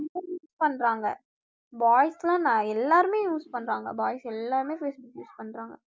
use பன்றாங்க boys எல்லாம் நான் எல்லாருமே use பன்றாங்க boys எல்லாருமே facebook use பன்றாங்க